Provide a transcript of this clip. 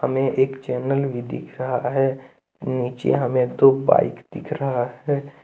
यह एक चैनल भी दिख रहा है नीचे हमें दो बाइक दिख रहा है।